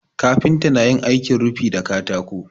Kafinta na yin aikin rufi da katako.